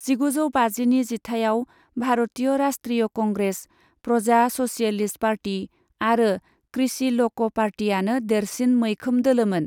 जिगुजौ बाजिनि जिथाइआव Bharatiya Rashtriya Congress, Praja Socialist Party आरो कृषि ल'क पार्टीआनो देरसिन मैखोम दोलोमोन।